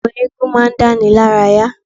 Àwọn eégún ma ń dáni lára yá.